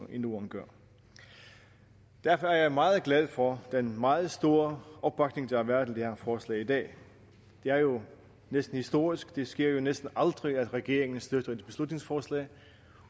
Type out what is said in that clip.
i norden gør derfor er jeg meget glad for den meget store opbakning der har været til det her forslag i dag det er jo næsten historisk for det sker jo næsten aldrig at en regering støtter et beslutningsforslag